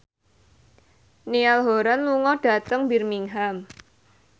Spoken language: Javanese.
Niall Horran lunga dhateng Birmingham